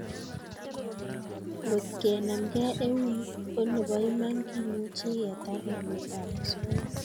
Ngotkenamkei eun ko nebo iman kemuchi ketar nametab osoya